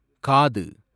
காது